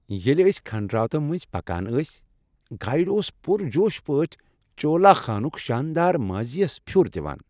ییلہِ أسۍ کھنڈراتو مٔنٛزۍ پكان ٲسۍ گایڈ اوس پُر جوش پٲٹھۍ چولا خانُک شاندار ماضی یس پھِیوٚر دِوان۔